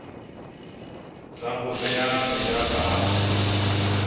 tsa ho bea meja fatshe